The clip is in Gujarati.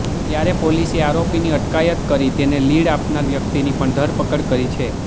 ત્યારે પોલીસે આરોપીની અટકાયત કરી તેને લીડ આપનાર વ્યક્તિની પણ ધરપકડ કરી છે